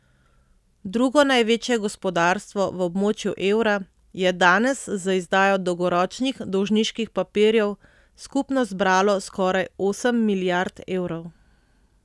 Drugo največje gospodarstvo v območju evra je danes z izdajo dolgoročnih dolžniških papirjev skupno zbralo skoraj osem milijard evrov.